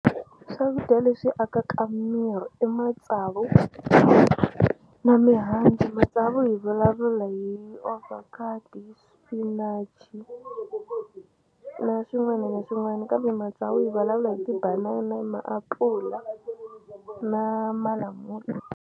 Swakudya leswi akaka miri i matsavu na mihandzu matsavu hi vulavula hi avocado, sinach na swin'wana na swin'wana kambe matsavu hi vulavula hi tibanana maapula na malamula.